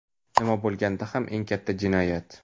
nima bo‘lganda ham - eng katta jinoyat.